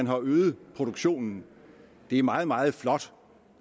har øget produktionen det er meget meget flot